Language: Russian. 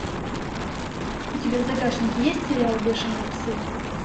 у тебя в загашнике есть сериал бешеные псы